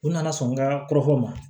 U nana sɔn ka kɔrɔfɔ u ma